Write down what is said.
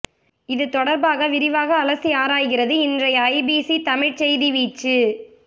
இது தொடர்பாக விரிவாக அலசி ஆராய்கிறது இன்றைய ஐபிசி தமிழ் செய்தி வீச்சு